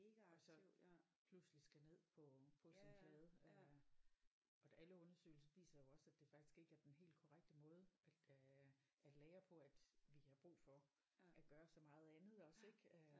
Og så pludselig skal ned på på sin flade øh og der alle undersøgelser viser jo også at det faktisk ikke er den helt korrekte måde at øh at lære på at vi har brug for at gøre så meget andet også ik øh